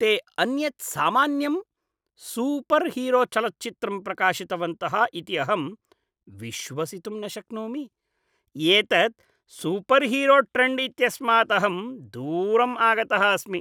ते अन्यत् सामान्यं सूपर्हीरोचलच्चित्रं प्रकाशितवन्तः इति अहं विश्वसितुं न शक्नोमि। एतत् सूपर्हीरोट्रेण्ड् इत्यस्मात् अहं दूरम् आगतः अस्मि।